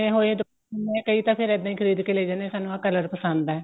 ਬਣੇ ਹੋਏ ਹੈ ਕਈ ਤਾਂ ਫੇਰ ਇੱਦਾਂ ਹੀ ਖ਼ਰੀਦ ਕੇ ਲੇ ਜਾਂਦੇ ਸਾਨੂੰ ਆ color ਪਸੰਦ ਏ